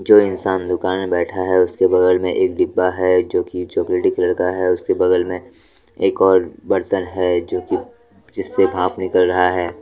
जो इंसान दुकान में बैठा हैउसके बगल में एक डिब्बा हैजो की चॉकलेटी कलर का हैउसके बगल में एक और बर्तन है जो कि जिससे भांप निकल रहा है।